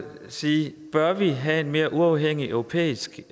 sige bør vi have en mere uafhængig europæisk